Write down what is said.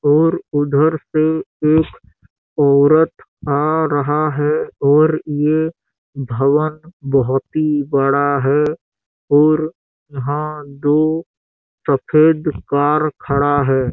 हुए उधर से एक औरत आ रहा है और ये भवन बहुत ही बड़ा है और यहाँ दो सफ़ेद कार खड़ा है।